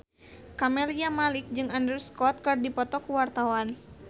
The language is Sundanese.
Camelia Malik jeung Andrew Scott keur dipoto ku wartawan